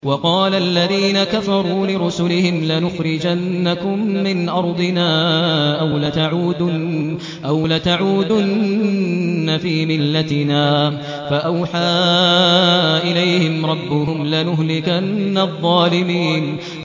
وَقَالَ الَّذِينَ كَفَرُوا لِرُسُلِهِمْ لَنُخْرِجَنَّكُم مِّنْ أَرْضِنَا أَوْ لَتَعُودُنَّ فِي مِلَّتِنَا ۖ فَأَوْحَىٰ إِلَيْهِمْ رَبُّهُمْ لَنُهْلِكَنَّ الظَّالِمِينَ